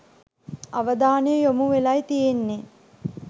අවධානය යොමු වෙලයි තියෙන්නෙ.